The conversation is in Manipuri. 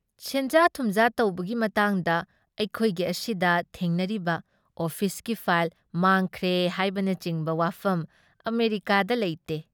ꯁꯦꯟꯖꯥ ꯊꯨꯝꯖꯥ ꯇꯧꯕꯒꯤ ꯃꯇꯥꯡꯗ ꯑꯩꯈꯣꯏꯒꯤ ꯑꯁꯤꯗ ꯊꯦꯡꯅꯔꯤꯕ ꯑꯣꯐꯤꯁꯀꯤ ꯐꯥꯏꯜ ꯃꯥꯡꯈ꯭ꯔꯦ ꯍꯥꯏꯕꯅꯆꯤꯡꯕ ꯋꯥꯐꯝ ꯑꯃꯦꯔꯤꯀꯥꯗ ꯂꯩꯇꯦ ꯫